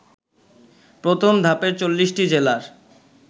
প্রথম ধাপে ৪০টি জেলার